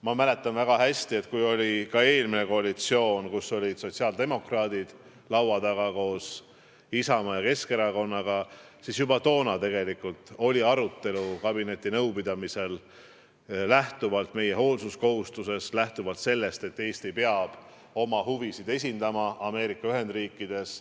Ma mäletan väga hästi, et juba siis, kui oli eelmine koalitsioon, kus olid sotsiaaldemokraadid laua taga koos Isamaa ja Keskerakonnaga, oli kabinetinõupidamisel sel teemal arutelu lähtuvalt meie hoolsuskohustusest, lähtuvalt sellest, et Eesti peab oma huvisid esindama ka Ameerika Ühendriikides.